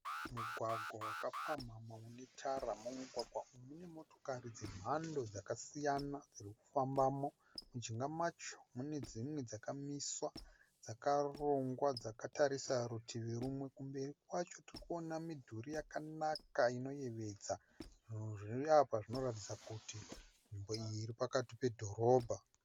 Mugwagwa wakapamhamha une tara. Mumugwagwa umu mune motokari dzemhando dzakasiyana dziri kufambamo. Mujinga macho mune dzimwe dzakamiswa dzakarongwa dzakatarisa rutivi rumwe. Kumberi kwacho tiri kuona midhuri yakanaka, inoyevedza. Zvinhu zviri apa zvinoratidza kuti nzvimbo iyi iri pakati pedhorobha.